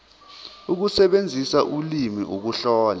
ukusebenzisa ulimi ukuhlola